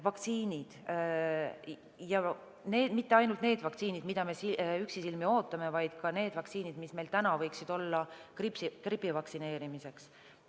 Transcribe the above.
Vaktsiinid – ja mitte ainult need vaktsiinid, mida me üksisilmi ootame, vaid ka need vaktsiinid, mis meil täna võiksid olla gripi vastu vaktsineerimiseks.